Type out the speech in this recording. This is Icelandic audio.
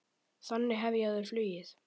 Þannig hefja þau flugið.